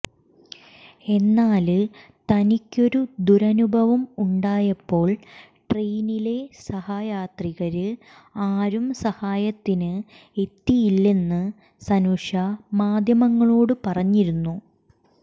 എന്നാല് തനിക്കൊരു ദുരനുഭവം ഉണ്ടായപ്പോൾ ട്രെയിനിലെ സഹയാത്രികര് ആരും സഹായത്തിന് എത്തിയില്ലെന്ന് സനുഷ മാധ്യമങ്ങളോട് പറഞ്ഞിരിന്നു